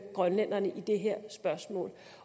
grønlænderne i det her spørgsmål